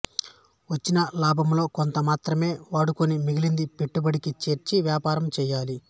వచ్చిన లాభములో కొంత మాత్రమే వాడుకుని మిగిలినది పెట్టుబడికి చేర్చి వ్యాపారము చేయాలి